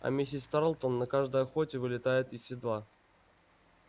а миссис тарлтон на каждой охоте вылетает из седла